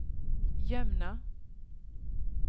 Jømna